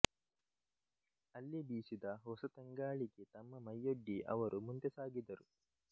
ಅಲ್ಲಿ ಬೀಸಿದ ಹೊಸತಂಗಾಳಿಗೆ ತಮ್ಮ ಮೈಯೊಡ್ಡಿ ಅವರು ಮುಂದೆ ಸಾಗಿದರು